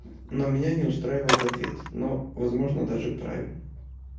но меня не устраивает ответ но возможно даже правильно